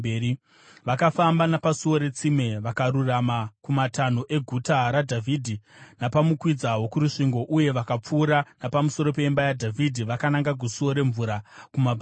Vakafamba napaSuo reTsime vakarurama kumatanho eGuta raDhavhidhi napamukwidza wokurusvingo uye vakapfuura napamusoro peimba yaDhavhidhi vakananga kuSuo reMvura kumabvazuva.